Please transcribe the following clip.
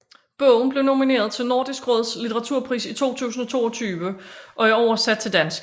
Bogen blev nomineret til Nordisk Råds litteraturpris i 2022 og er oversat til dansk